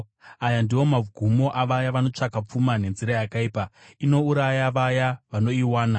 Aya ndiwo magumo avaya vanotsvaka pfuma nenzira yakaipa; inouraya vaya vanoiwana.